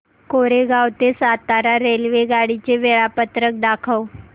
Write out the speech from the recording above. कोरेगाव ते सातारा रेल्वेगाडी चे वेळापत्रक दाखव